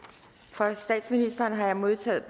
fra statsministeren har jeg modtaget